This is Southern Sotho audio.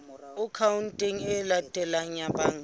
akhaonteng e latelang ya banka